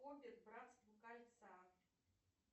хоббит братство кольца